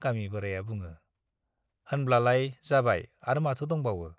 गामि गोराया बुङो, होनब्लालाय जाबाय आर माथो दंबावो।